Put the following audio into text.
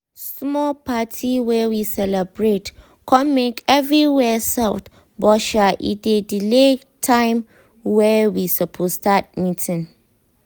small party wey we celebrate com make everywhere soft buh sha e delay time wey we suppose start meetig